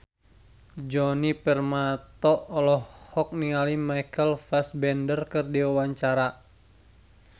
Djoni Permato olohok ningali Michael Fassbender keur diwawancara